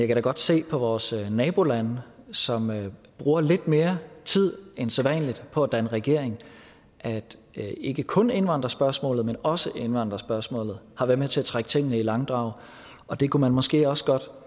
kan da godt se på vores naboland som bruger lidt mere tid end sædvanlig på at danne regering at ikke kun indvandrerspørgsmålet men også indvandrerspørgsmålet har været med til at trække tingene i langdrag og det kunne man måske også godt